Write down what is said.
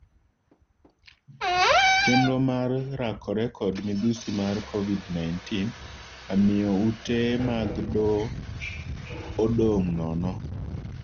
Chendro mag rakore kod midhusi mar Covid-19 amiyo ute mag doo odong' nono.